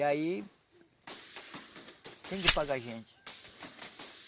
E aí tem que pagar a gente.